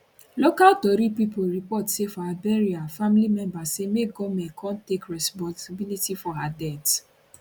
local tori pipo report say for her burial family members say make goment come take responsibility for her her death